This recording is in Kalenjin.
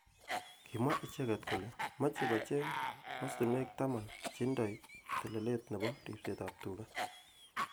Kimwa icheket kole moche kocheng mastunwek taman cheindoi telelet nebo ribset ab tuga.